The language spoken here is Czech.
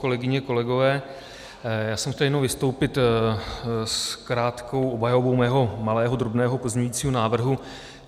Kolegyně, kolegové, já jsem chtěl jenom vystoupit s krátkou obhajobou svého malého, drobného pozměňujícího návrhu.